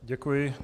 Děkuji.